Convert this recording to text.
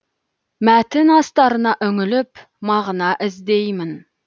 мәтін астарына үңіліп мағына іздеймін